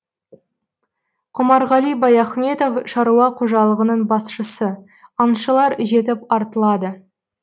құмарғали баяхметов шаруа қожалығының басшысы аңшылар жетіп артылады